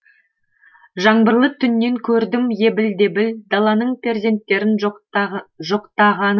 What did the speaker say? жаңбырлы түннен көрдім ебіл дебіл даланың перзенттерін жоқтағанын